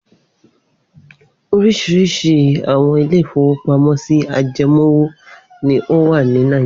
Oríṣiríṣi àwọn ilé-ìfowópamọ́sí ajẹmówò ni ó wà ní Nàìjíríà.